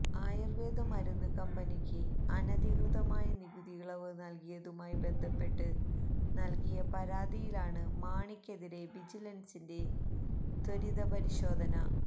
ആയൂര്വേദ മരുന്ന് കമ്പനിക്ക് അനധികൃതമായി നികുതിയിളവ് നല്കിയതുമായി ബന്ധപ്പെട്ട് നല്കിയ പരാതിയിലാണ് മാണിക്കെതിരെ വിജിലന്സിന്റെ ത്വരിതപരിശോധന